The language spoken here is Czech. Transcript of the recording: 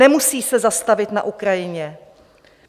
Nemusí se zastavit na Ukrajině.